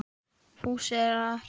Fúsi er að hrekkja